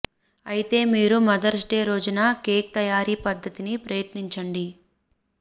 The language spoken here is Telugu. అయితే మీరు మదర్స్ డే రోజున కేక్ తయారీ పద్ధతిని ప్రయత్నించండి